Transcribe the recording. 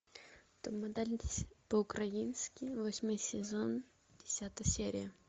топ модель по украински восьмой сезон десятая серия